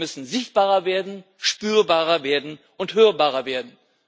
Wir müssen sichtbarer werden, spürbarer werden und hörbarer werden.